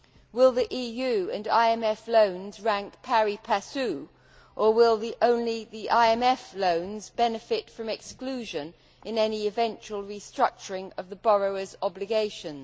Will the EU and IMF loans rank pari passu or will only the IMF loans benefit from exclusion in any eventual restructuring of the borrowers' obligations.